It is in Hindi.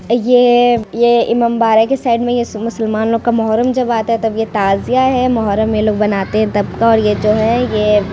ये ये इमामबाड़ा की साइड में ये मुसलमानों का मोहर्रम जब आता है तब ये ताजिया है मोहर्रम में लोग बनाते है तबका और ये जो है ये --